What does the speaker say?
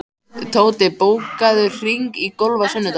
Tóti, bókaðu hring í golf á sunnudaginn.